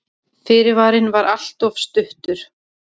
Fyrirvarinn var alltof stuttur.